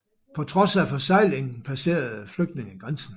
På trods af forseglingen passerede flygtninge grænsen